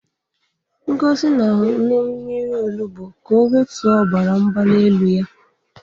Ngozi na-aṅụ mmiri onugbu ka o wetuo obara mgbali elu ya.